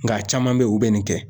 Nka caman be yen u bɛ nin kɛ